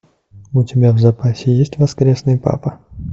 у тебя в запасе есть воскресный папа